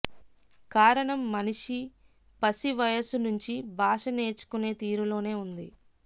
కారణం మనిషి పసి వయసు నుంచీ భాష నేర్చుకునే తీరులోనే ఉంది